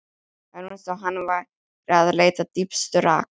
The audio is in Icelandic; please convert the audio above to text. Það var eins og hann væri að leita dýpstu raka.